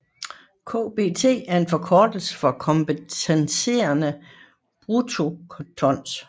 KBT er en forkortelse for kompenserede bruttotons